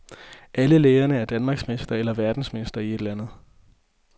Alle lærerne er danmarksmester eller verdensmester i et eller andet.